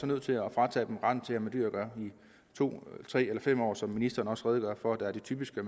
nødt til at fratage dem retten til at have med dyr at gøre i to tre eller fem år som ministeren også redegør for er det typiske